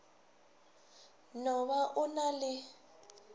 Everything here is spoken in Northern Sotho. no ba o na le